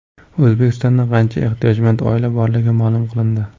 O‘zbekistonda qancha ehtiyojmand oila borligi ma’lum qilindi.